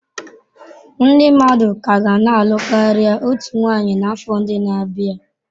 Ndị mmadụ ka ga na-alụ karịa otu nwanyị n'afọ ndị na-abịa.